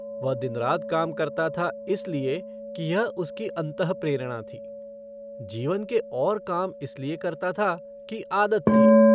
वह दिन-रात काम करता था, इसलिए कि यह उसकी अतःप्रेरणा थी। जीवन के और काम इसलिए करता था कि आदत थी।